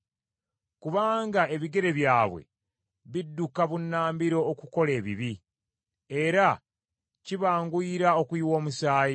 Kubanga ebigere byabwe bidduka bunnambiro okukola ebibi, era kibanguyira okuyiwa omusaayi.